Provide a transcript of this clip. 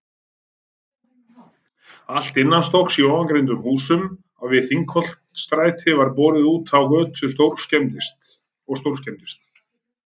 Allt innanstokks í ofangreindum húsum við Þingholtsstræti var borið útá götu og stórskemmdist.